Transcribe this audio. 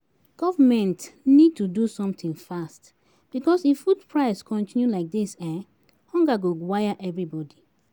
Government need to do something fast, because if food prices continue like this, hunger go wire everybody